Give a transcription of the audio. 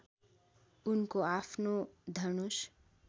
उनको आफ्नो धनुष